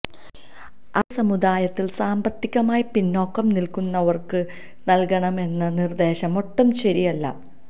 അതേ സമുദായത്തിൽ സാമ്പത്തികമായി പിന്നോക്കം നിൽക്കുന്നവർക്ക് നൽകണമെന്ന നിർദ്ദേശം ഒട്ടും ശരിയല്ല